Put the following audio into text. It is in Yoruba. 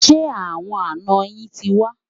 Ṣé àwọn àná yín tí wà?